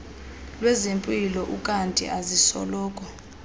lwezempilo ukanti azisoloko